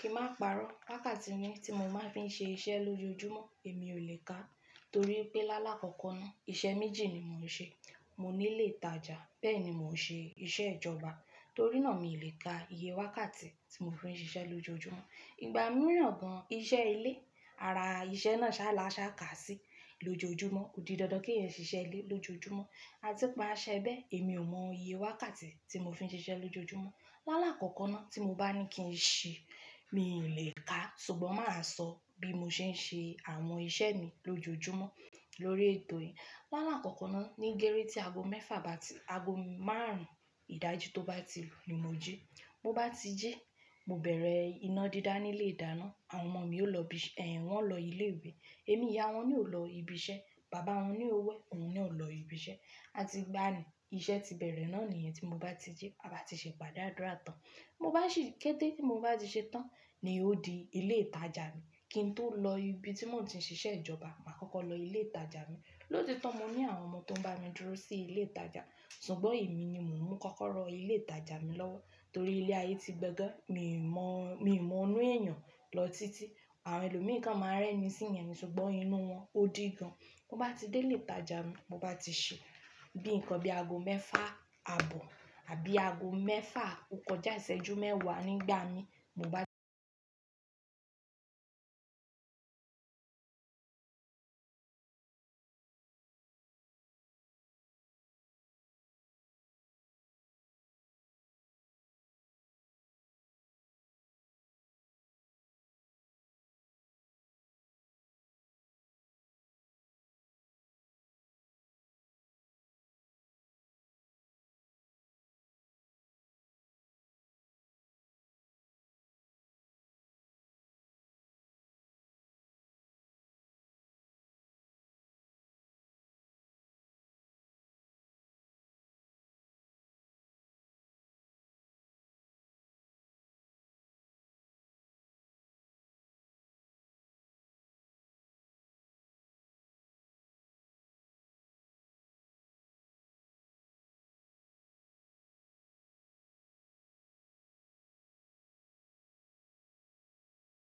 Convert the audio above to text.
Kí má parọ́, wákàtí ni tí mo máa ń fi ṣe iṣẹ́ lójoojúmọ́ èmi ò lè ká, torí pé lálá kọ́kọ́ náà iṣẹ́ méjì ni mò ń ṣe. Mò nílé ìtajà bẹ́ẹ̀ ni mò ń ṣe iṣẹ́ ìjọba, torí náà mi ò lè ka iye wákàtí tí mo fi ń ṣiṣẹ́ lójoojúmọ́. Ìgbà mìíràn gan, iṣẹ́ ilé, ara iṣẹ́ náà ṣá lá ṣá kà sí lójoojúmọ́, ó di dandan kí ẹ́ ṣiṣẹ́ ilé lójoojúmọ́, a ti pa á ṣẹ bẹ́ẹ̀ èmi ò mọ iye wákàtí tí mo fi ń ṣiṣẹ́ lójoojúmọ́. Lálá kọ́kọ́ náà tí mo bá ní kí n ṣi, mi lè ká ṣùgbọ́n mà á sọ bí mo ṣe ń ṣe àwọn iṣẹ́ mi lójoojúmọ́ lórí ètò yìí. Lálá kọ́kọ́ náà ní gẹ́rẹ́ tí ago mẹ́fà bá ti, ago márùn-ún ìdájí tó bá ti lu ni mo jí. Mo bá ti jí, mo bẹ̀rẹ̀ iná dídá nílé ìdáná, àwọn ọmọ mi ó lọ bí, wọ́n o lọ ilé ìwé, èmi ìyá wọn ni ò lọ ibi iṣẹ́, bàbá wọn na ó wẹ̀, òun ni ò lọ ibi iṣẹ́, a ti gbá ni iṣẹ́ ti bẹ̀rẹ̀ náà níyẹn tí mo bá ti jí. A bá ti ṣe ipàde àdùrà tán, mo bá ṣì kéte mo bá ti ṣe tán ni ó di ilé ìtajà mi, kí n tó lọ ibi tí mò ń ti ń ṣiṣẹ́ ìjọba, mà á kọ́kọ́ lọ ilé ìtajà mi. Lótito mo ni àwọn ọmọ tó ń bá mi dúró sí ilé ìtajà, ṣùgbọ́n èmi ni mo mú kọ́kọ́rọ ilé ìtajà mi lọ́wọ́ torí ilé ayé ti gbẹ ge, mi ò mọ, mi ò mọ inú èèyàn lọ títí. Àwọn ẹlòmí kan máa ń rẹ́ni síyan ṣùgbọ́n inú wọn ò di gan. Mo bá ti dé ilé ìtajà mi, mo bá ti ṣe bíi nǹkan bí ago mẹ́fà àbọ̀ àbí ago mẹ́fà ò kọjá ìṣẹ́jú mẹ́wàá nígbà mi, mo bá ti ṣe tán.